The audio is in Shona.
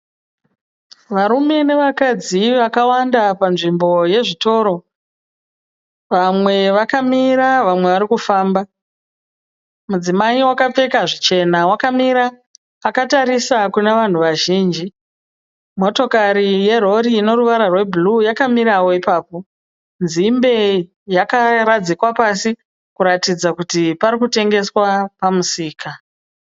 Varume nevakadzi vakawanda panzvimbo yezvitoro. Vamwe vakamira vamwe varikufamba. Mudzimai wakapfeka zvichena wakamira akatarisa kunavanhu vazhinji. Motokari yerori inoruvara rwebhuruu yakamirawo ipapo. Nzimbe yakaradzikwa pasi kuratidza kuti parikutengeswa pamusika.